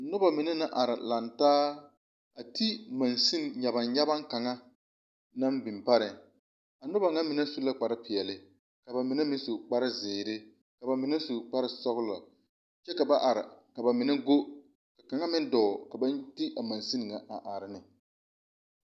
Noba mine naŋ are lantaa a di mansene nyabaŋnyabaŋ kaŋ naŋ biŋ pare kyɛ a noba ŋa mine su la kpar peɛle ka mine meŋ su kpar zeere ka ba mine su kpar sɔgelɔ kyɛ ka ba are ka ba mine go mine meŋ dɔɔ ka ba de a Nansen ŋa are ne